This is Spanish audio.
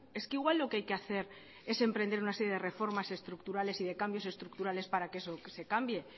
es que igual lo que hay que hacer es emprender una serie de reformas estructurales y de cambios estructurales para que eso se cambie